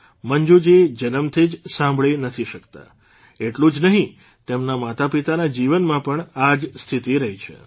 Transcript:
મંજૂજી જન્મથી જ સાંભળી નથી શકતા એટલું જ નહીં તેમના માતાપિતાના જીવનમાં પણ આ જ સ્થિતિ રહી છે